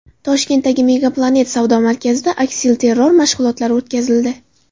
Toshkentdagi MegaPlanet savdo markazida aksilterror mashg‘ulotlari o‘tkazildi.